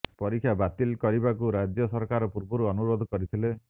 ପରୀକ୍ଷା ବାତିଲ କରିବାକୁ ରାଜ୍ୟ ସରକାର ପୂର୍ବରୁ ଅନୁରୋଧ କରିଥିଲେ